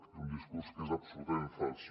és un discurs que és absolutament fals